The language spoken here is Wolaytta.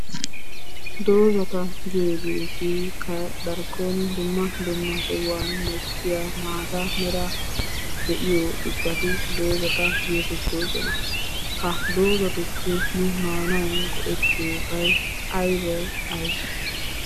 Dozzata giyoogeetikka darkkon dumma dumma sohuwani mokkiya maata meray de'iyo ubbati dozzata geetettoosona. Ha dozzatuppe nu maanawu go'ettiyoobay aybee? aybee?